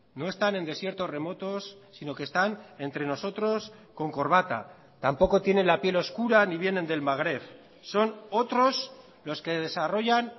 no están en desiertos remotos sino que están entre nosotros con corbata tampoco tienen la piel oscura ni vienen del magreb son otros los que desarrollan